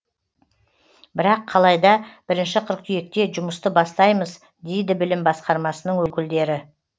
бірақ қалайда бірінші қыркүйекте жұмысты бастаймыз дейді білім басқармасының өкілдері